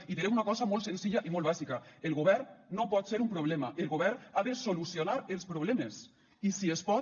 i diré una cosa molt senzilla i molt bàsica el govern no pot ser un problema el govern ha de solucionar els problemes i si es pot